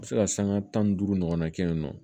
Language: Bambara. A bɛ se ka sanga tan ni duuru ɲɔgɔnna kɛ yen nɔ